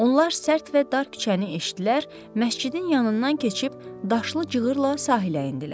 Onlar sərt və dar küçəni eşitdilər, məscidin yanından keçib daşlı cığırla sahilə endilər.